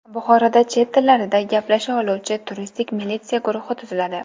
Buxoroda chet tillarida gaplasha oluvchi turistik militsiya guruhi tuziladi.